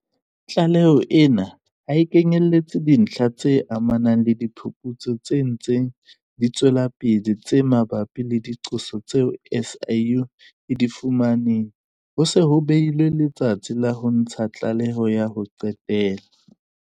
Tlaleho ena ha e kenyeletse dintlha tse amanang le diphuputso tse ntseng di tswela pele tse mabapi le diqoso tseo SIU e di fumaneng ho se ho behilwe letsatsi la ho ntsha tlaleho ya ho qetela.